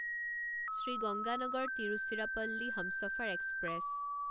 Shri Ganganagar Tiruchirappalli Humsafar express